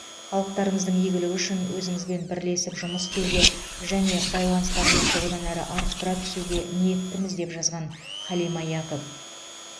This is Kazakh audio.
халықтарымыздың игілігі үшін өзіңізбен бірлесіп жұмыс істеуге және байланыстарымызды одан әрі арттыра түсуге ниеттіміз деп жазған халима якоб